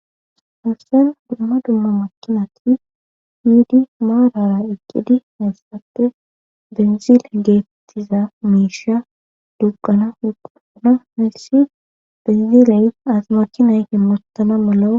Hastan dumma dumma makinati yiidi maarara eqqidi nayssappe benzile geettiza miisha dugqana huquana heyssi beziley asmachi nayhe muttana malao